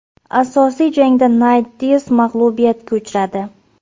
Asosiy jangda Nayt Dias mag‘lubiyatga uchradi.